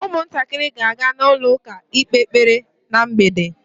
Ụmụntakịrị ga-aga na ụlọ ụka ikpe ekpere ná mgbede.